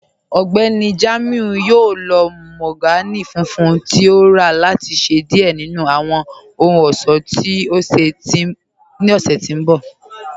Ọgbẹ́ni Jamiu yọ̀ò lọ̀ mahogany fùnfùn tí o rà láti ṣẹ diẹ̀ nínu awọn ọhun-ọṣọ́ ní ọ̀ṣẹ̀ tó nbọ̀.